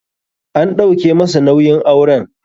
An ɗauke masa nauyin auren.